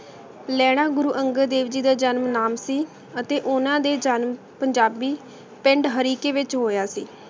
ਲੈਣਾ ਗੁਰੂ ਅਨ੍ਗਤ ਜੀ ਦਾ ਜਨਮ ਨਾਮ ਸੀ ਅਤੀ ਓਹਨਾਂ ਦਾ ਜਨਮ ਪੰਜਾਬੀ ਪਿੰਡ ਹਰਿਸਾਯ ਵਿਚ ਹੋਯਾ ਸੀ